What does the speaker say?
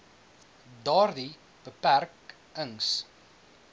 daardie beperk ings